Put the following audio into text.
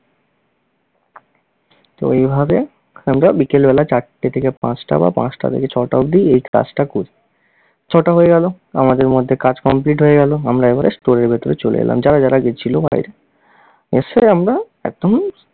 তো এভাবে আমরা বিকেল বেলা চারটে থেকে পাঁচটা বা পাঁচটা থেকে ছটা এই কাজটা করি। ছ'টা হয়ে গেল, আমাদের মধ্যে কাজ complete হয়ে গেল। আমরা এবারে store এর ভেতরে চলে এলাম, যারা যারা গেছিল বাইরে। এসে আমরা একদম